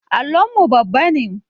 Allon mu babba ne